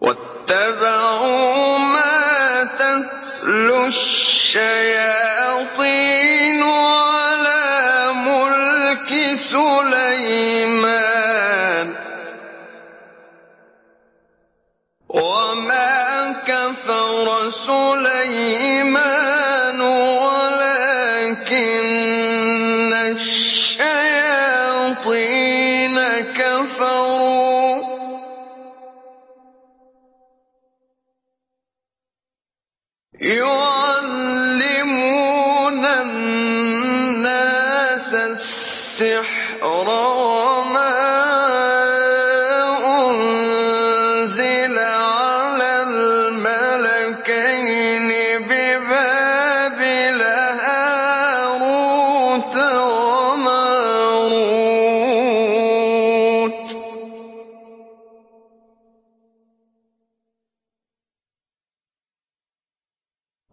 وَاتَّبَعُوا مَا تَتْلُو الشَّيَاطِينُ عَلَىٰ مُلْكِ سُلَيْمَانَ ۖ وَمَا كَفَرَ سُلَيْمَانُ وَلَٰكِنَّ الشَّيَاطِينَ كَفَرُوا يُعَلِّمُونَ النَّاسَ السِّحْرَ وَمَا أُنزِلَ عَلَى الْمَلَكَيْنِ بِبَابِلَ هَارُوتَ وَمَارُوتَ ۚ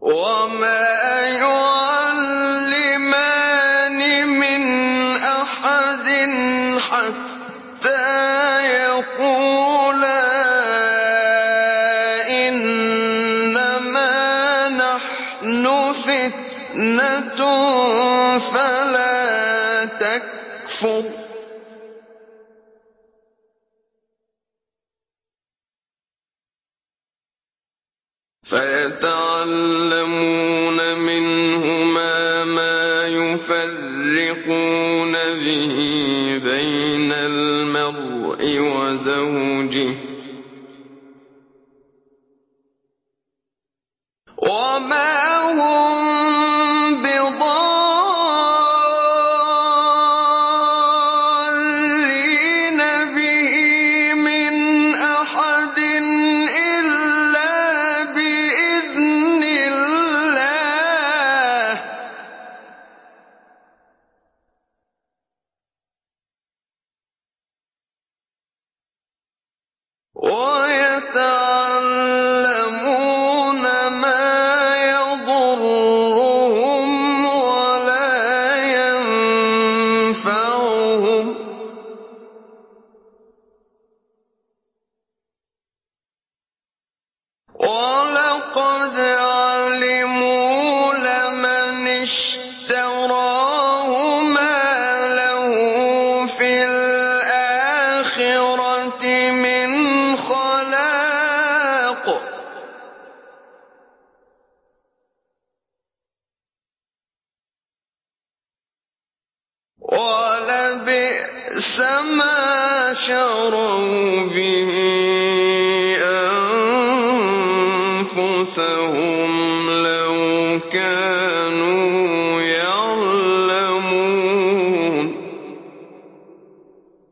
وَمَا يُعَلِّمَانِ مِنْ أَحَدٍ حَتَّىٰ يَقُولَا إِنَّمَا نَحْنُ فِتْنَةٌ فَلَا تَكْفُرْ ۖ فَيَتَعَلَّمُونَ مِنْهُمَا مَا يُفَرِّقُونَ بِهِ بَيْنَ الْمَرْءِ وَزَوْجِهِ ۚ وَمَا هُم بِضَارِّينَ بِهِ مِنْ أَحَدٍ إِلَّا بِإِذْنِ اللَّهِ ۚ وَيَتَعَلَّمُونَ مَا يَضُرُّهُمْ وَلَا يَنفَعُهُمْ ۚ وَلَقَدْ عَلِمُوا لَمَنِ اشْتَرَاهُ مَا لَهُ فِي الْآخِرَةِ مِنْ خَلَاقٍ ۚ وَلَبِئْسَ مَا شَرَوْا بِهِ أَنفُسَهُمْ ۚ لَوْ كَانُوا يَعْلَمُونَ